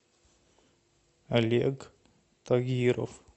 олег тагиров